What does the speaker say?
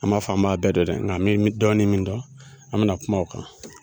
An man fɔ an m'a bɛɛ dɔn dɛ nka mɛ mɛ dɔɔni min dɔn an mɛna kuma o kan.